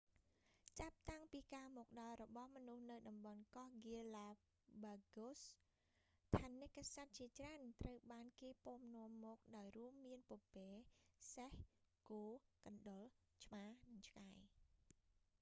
​ចាប់តាំងពីការមកដល់របស់មនុស្សនៅតំបន់កោះ ហ្គាឡាបាហ្គូសgalapagos ថនិកសត្វជាច្រើនត្រូវបានគេពាំនាំមកដោយរួមមានពពែ សេះ គោ កណ្តុរ ឆ្មា និងឆ្កែ។